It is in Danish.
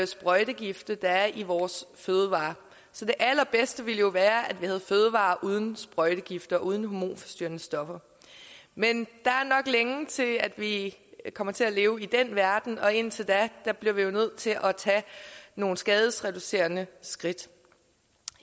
sprøjtegifte der er i vores fødevarer så det allerbedste ville jo være at vi havde fødevarer uden sprøjtegifte og uden hormonforstyrrende stoffer men der er nok længe til at vi kommer til at leve i den verden og indtil da bliver vi nødt til at tage nogle skadereducerende skridt